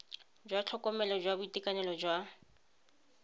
jwa tlhokomelo jwa boitekanelo jwa